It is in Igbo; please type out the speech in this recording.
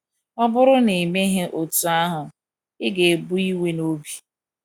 Ọ bụrụ na i meghị otú ahụ, ị ga - ebu iwe n’obi.